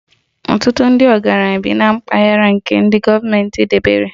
Ọtụtụ ndị ọgaranya bi na mpaghara nke gọọmentị debere